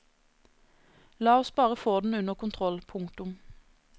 La oss bare få den under kontroll. punktum